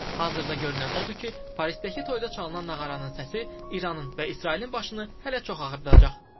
Hazırda görünən odur ki, Parisdəki toyda çalınan nağaraların səsi İranın və İsrailin başını hələ çox ağrıdıracaq.